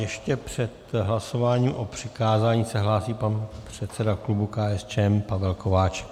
Ještě před hlasováním o přikázání se hlásí pan předseda klubu KSČM Pavel Kováčik.